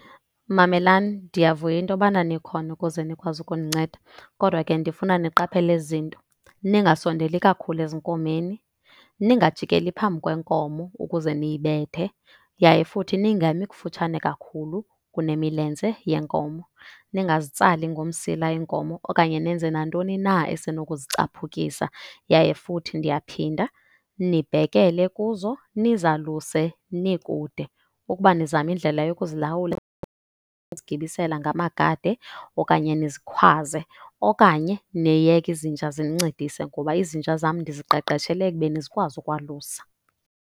Mamelani, ndiyavuya into yobana nikhona ukuze nikwazi ukundinceda kodwa ke ndifuna niqaphele ezi zinto. Ningasondeli kakhulu ezinkomeni, ningajikeli phambi kwenkomo ukuze niyibethe yaye futhi ningami kufutshane kakhulu kunemilenze yenkomo. Ningazitsali ngomsila iinkomo okanye nenze nantoni na esenokuzichaphukisa. Yaye futhi ndiyaphinda, nibhekele kuzo nizaluse nikude. Ukuba nizama indlela yokuzilawula zigibisela ngamagade okanye nizikhwaze. Okanye niyeke izinja zinincedise ngoba izinja zam ndiziqeqeshele ekubeni zikwazi ukwalusa.